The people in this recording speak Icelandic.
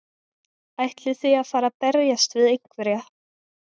Ætlið þið að fara að berjast við einhverja?